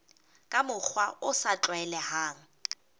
ka mokgwa o sa tlwaelehang